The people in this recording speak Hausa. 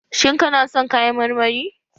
Shin kana son kayan marmari?